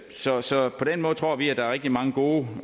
så så på den måde tror vi at der er rigtig mange gode